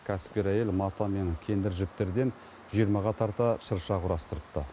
кәсіпкер әйел мата мен кендір жіптерден жиырмаға тарта шырша құрастырыпты